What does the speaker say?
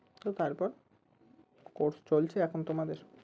তো তারপর course চলছে এখন তোমাদের?